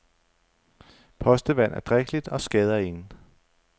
Postevand er drikkeligt og skader ingen.